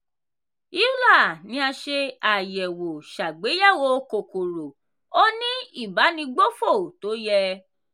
euler ni a ṣe àyẹ̀wò ṣàgbéyẹ̀wò kòkòrò ó ní ìbánigbófò tó yẹ.